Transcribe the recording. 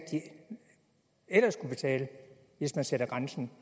de ellers skulle betale hvis man satte grænsen